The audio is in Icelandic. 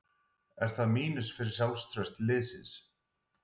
Er það mínus fyrir sjálfstraust liðsins?